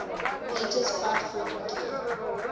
painters quite frequently